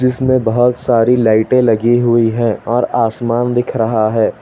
जिसमें बहुत सारी लाइटे लगी हुई हैं और आसमान दिख रहा है।